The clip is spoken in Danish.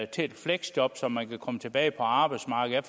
til et fleksjob så man kan komme tilbage på arbejdsmarkedet